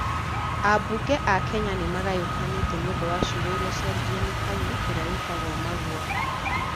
Ambunge a Kenya nĩ magayũkanite nĩ ũndũ wa ciugo iria ciaririo nĩ Kanyi, ũrĩa wĩtagwo Magua,